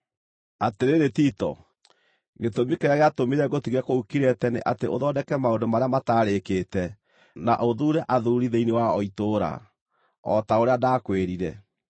Atĩrĩrĩ Tito, gĩtũmi kĩrĩa gĩatũmire ngũtige kũu Kirete nĩ atĩ ũthondeke maũndũ marĩa mataarĩkĩte na ũthuure athuuri thĩinĩ wa o itũũra, o ta ũrĩa ndakwĩrire.